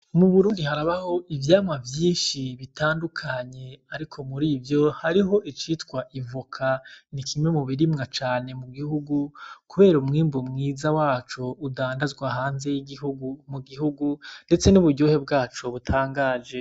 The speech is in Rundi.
Mu Burundi harabaho ivyamwa vyinshi bitandukanye, ariko muri ivyo hariho icitwa ivoka. Ni kimwe mu birimwa cane mu gihugu kubera umwimbu mwiza waco udandazwa hanze y'igihugu, mu gihugu ndetse n'uburyohe bwacu butangaje.